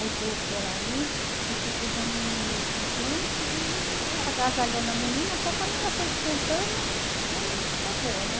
Aí coloquei ela ali e fiquei dando um leitinho quente e agasalhando a menina até que a menina foi esquentando e a menina ficou boa, né?